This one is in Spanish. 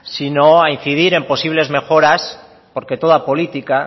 sino a incidir en posibles mejoras porque toda política